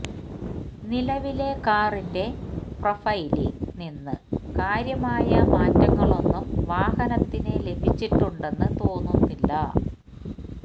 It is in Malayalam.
നിലവിലെ കാറിന്റെ പ്രെഫൈലിൽ നിന്ന് കാര്യമായ മാറ്റങ്ങളൊന്നും വാഹനത്തിന് ലഭിച്ചിട്ടുണ്ടെന്ന് തോന്നുന്നില്ല